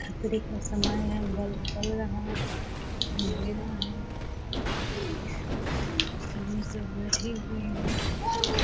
खतरे का समय है। बल्ब जल रहा है अँधेरा है। अभी सब बैठे हुए हैं।